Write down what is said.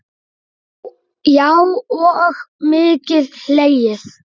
Já og mikið hlegið.